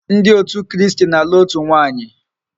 Ndi otu kristi n'alu otu nwaanyi